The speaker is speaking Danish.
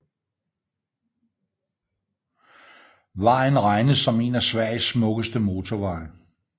Vejen regnes som en af Sveriges smukkeste motorveje